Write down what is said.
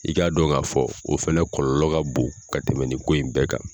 I k'a dɔn k'a fɔ o fɛnɛ kɔlɔlɔ ka bon ka tɛmɛ nin ko in bɛɛ kan.